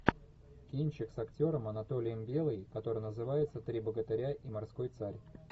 кинчик с актером анатолием белый который называется три богатыря и морской царь